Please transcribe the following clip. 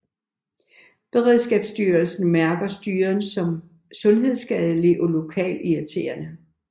Beredskabsstyrelsen mærker styren som sundhedsskadelig og lokalirriterende